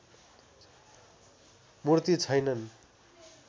मूर्ति छैनन्